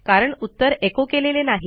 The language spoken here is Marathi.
कारण उत्तर एचो केलेले नाही